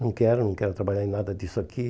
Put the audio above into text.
Não quero, não quero trabalhar em nada disso aqui.